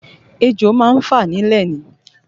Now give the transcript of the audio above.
Ejò má ń fà nílẹ̀ ni